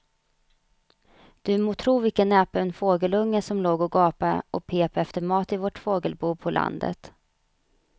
Du må tro vilken näpen fågelunge som låg och gapade och pep efter mat i vårt fågelbo på landet.